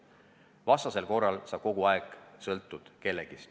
Vastasel korral sa kogu aeg sõltud kellestki.